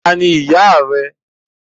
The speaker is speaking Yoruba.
Tani ìyá rẹ.